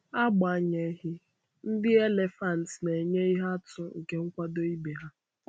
Agbanyeghị, ndị elefanti na-enye ihe atụ nke nkwado ibe ha.